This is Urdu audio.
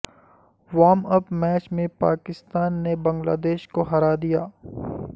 وارم اپ میچ میں پاکستان نے بنگلہ دیش کو ہرا دیا